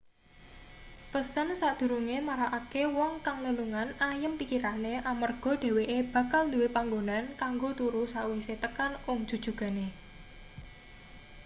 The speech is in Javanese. pesen sakdurunge marakake wong kang lelungan ayem pikirane amarga dheweke bakal duwe panggonan kanggo turu sakwise tekan ung jujugane